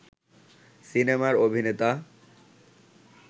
সিনেমার অভিনেতা